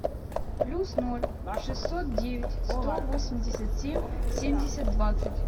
плюс ноль шестьсот девять сто восемьдесят семь семьдесят двадцать